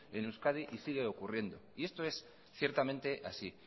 en euskadi y sigue ocurriendo y esto es ciertamente así